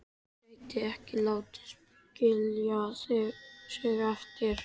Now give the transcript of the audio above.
Gæti ekki látið skilja sig eftir.